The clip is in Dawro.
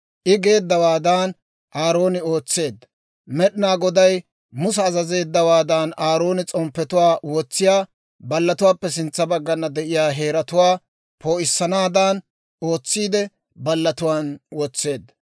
I geeddawaadan Aarooni ootseedda. Med'inaa Goday Musa azazeeddawaadan, Aarooni s'omppetuwaa wotsiyaa ballatuwaappe sintsa baggana de'iyaa heeratuwaa poo'issanaadan ootsiide, ballatuwaan wotseedda.